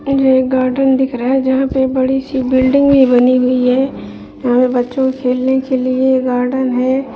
इधर एक गार्डन दिख रहा है जहाँ पे बड़ी सी बिल्डिंग भी बनी हुई है यहाँ पे बच्चों के खेलने के लिए गार्डन है।